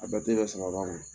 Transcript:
A bɛ di dɔ sam'a ba ma